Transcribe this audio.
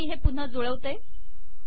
आता मी हे पुन्हा जुळवते